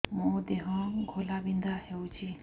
ମୋ ଦେହ ଘୋଳାବିନ୍ଧା ହେଉଛି